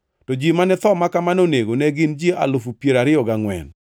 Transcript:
to ji mane tho ma kamano onego ne gin ji alufu piero ariyo gangʼwen (24,000).